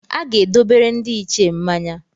A ga-edobere ndị Ichie mmanya.